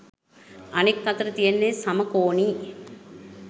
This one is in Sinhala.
අනෙක් අතට තියෙන්නෙ සමකෝණී